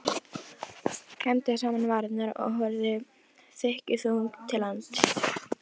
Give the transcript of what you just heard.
Klemmdi saman varirnar og horfði þykkjuþung til lands.